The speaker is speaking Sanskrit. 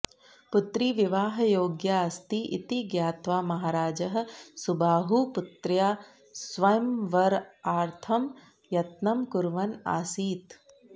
पुत्री विवाहयोग्या अस्ति इति ज्ञात्वा महाराजः सुबाहुः पुत्र्याः स्वयंवरार्थं यत्नं कुर्वन् आसीत्